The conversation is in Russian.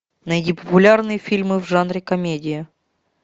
найди популярные фильмы в жанре комедия